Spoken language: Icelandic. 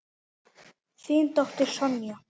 Þín dóttir Sonja.